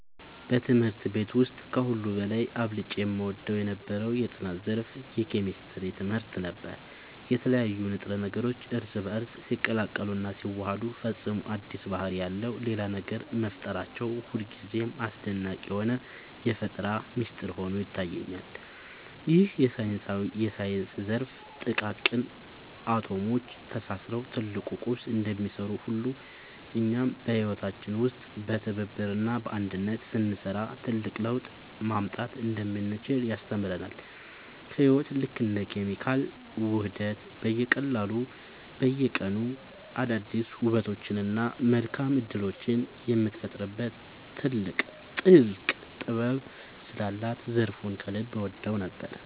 በትምህርት ቤት ውስጥ ከሁሉ በላይ አብልጬ እወደው የነበረው የጥናት ዘርፍ የኬሚስትሪ ትምህርት ነበር። የተለያዩ ንጥረ ነገሮች እርስ በእርስ ሲቀላቀሉና ሲዋሃዱ ፈጽሞ አዲስ ባህሪ ያለው ሌላ ነገር መፍጠራቸው ሁልጊዜም አስደናቂ የሆነ የፈጠራ ሚስጥር ሆኖ ይታየኛል። ይህ የሳይንስ ዘርፍ ጥቃቅን አቶሞች ተሳስረው ትልቅ ቁስ እንደሚሰሩ ሁሉ፣ እኛም በህይወታችን ውስጥ በትብብርና በአንድነት ስንሰራ ትልቅ ለውጥ ማምጣት እንደምንችል ያስተምረናል። ህይወት ልክ እንደ ኬሚካላዊ ውህደት በየቀኑ አዳዲስ ውበቶችንና መልካም እድሎችን የምትፈጥርበት ጥልቅ ጥበብ ስላላት ዘርፉን ከልብ እወደው ነበር።